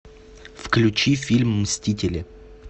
включи фильм мстители